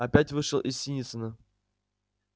опять вышел из синицына